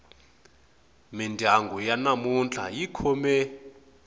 mindyangu ya namuntlha yi khome